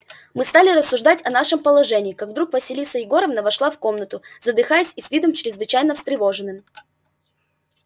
мы стали рассуждать о нашем положении как вдруг василиса егоровна вошла в комнату задыхаясь и с видом чрезвычайно встревоженным